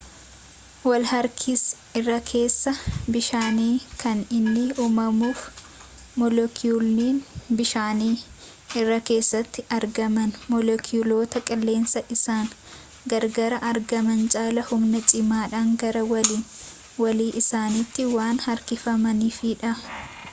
walharkisi irrakeessa bishaanii kan inni uumamuuf moleekiyuulonni bishaanii irrakeessatti argaman moleekiyuulota qilleensaa isaan gararraatti argaman caalaa humna cimaadhaan gara walii walii isaaniitti waan harkifamaniifidha